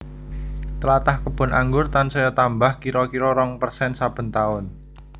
Tlatah kebon anggur tansaya tambah kira kira rong persen saben taun